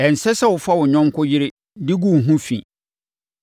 “ ‘Ɛnsɛ sɛ wofa wo yɔnko yere de gu wo ho fi.